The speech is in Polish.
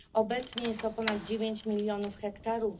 Obecnie wynosi ona ponad dziewięć milionów hektarów.